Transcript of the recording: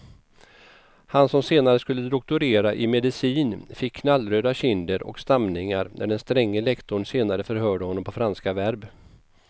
Han som senare skulle doktorera i medicin fick knallröda kinder och stamningar när den stränge lektorn senare förhörde honom på franska verb.